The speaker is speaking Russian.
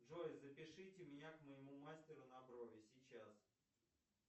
джой запишите меня к моему мастеру на брови сейчас